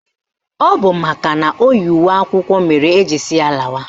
Ọ bụ makana o yi uwe akwụkwọ mere eji sị ya lawa